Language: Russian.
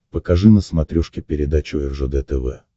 покажи на смотрешке передачу ржд тв